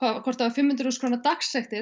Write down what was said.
fimm hundruð þúsund króna dagsektir